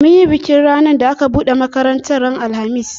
Mun yi bikin ranar da aka buɗe makaratar ran alhamis